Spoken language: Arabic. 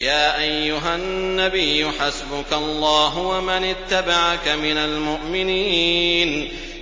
يَا أَيُّهَا النَّبِيُّ حَسْبُكَ اللَّهُ وَمَنِ اتَّبَعَكَ مِنَ الْمُؤْمِنِينَ